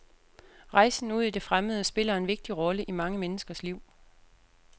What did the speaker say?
Rejsen ud i det fremmede spiller en vigtig rolle i mange menneskers liv.